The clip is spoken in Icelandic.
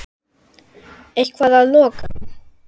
Eitthvað að lokum?